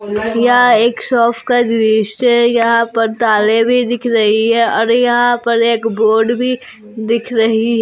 यह एक शॉप का दृश्य यहां पर ताले भी दिख रही है और यहां पर एक बोर्ड भी दिख रही है।